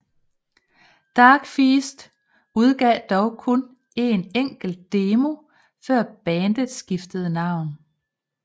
Darkfeast udgav dog kun en enkelt demo før bandet skiftede navn